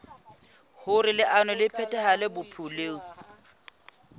hoer leano le phethahale bophelong